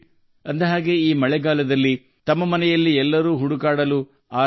ಅಲ್ಲದೆ ಈ ಮಳೆಗಾಲದಲ್ಲಿ ಪ್ರತಿ ಮನೆಯಲ್ಲೂ 'ಛತ್ರಿ'ಗಾಗಿ ಹುಡುಕಾಟ ಶುರುವಾಗಿದೆ